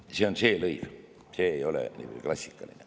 See on see lõiv, see ei ole klassikaline.